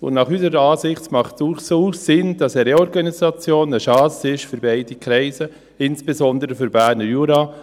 Unserer Ansicht nach macht dies durchaus Sinn, da eine Reorganisation eine Chance ist für beide Kreise ist, insbesondere für den Berner Jura.